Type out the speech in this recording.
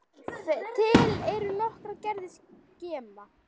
Til eru nokkrar gerðir skema.